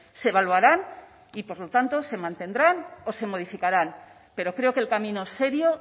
se evaluarán y por lo tanto se mantendrán o se modificarán pero creo que el camino serio